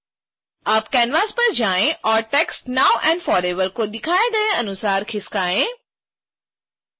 अब canvas पर जाएँ और टेक्स्ट now and forever को दिखाए गए अनुसार खिसकाएँ